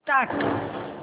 start